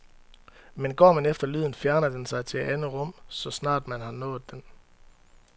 Men går man efter lyden, fjerner den sig til et andet rum, så snart man har nået den.